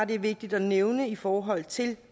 det er vigtigt at nævne i forhold til